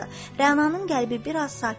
Rənanın qəlbi bir az sakit oldu.